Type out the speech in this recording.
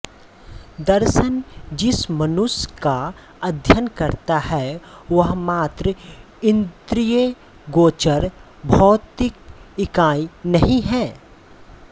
दर्शन जिस मनुष्य का अध्ययन करता है वह मात्र इन्द्रियगोचर भौतिक इकाई नहीं है